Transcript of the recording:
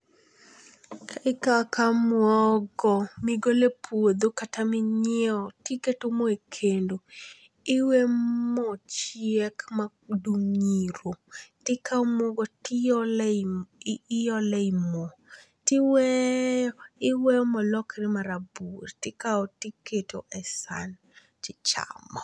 Ikawo akawa muogo migolo e pudho kata minyiewo to iketo mo ekendo to iweyo mo chiek madum iro tikawo muogo tiolo ei mo tiweyo iweyo molokre marabuor tikawo tiketo e san tichamo.